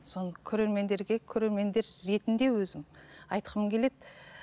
соны көрермендерге көрермендер ретінде өзім айтқым келеді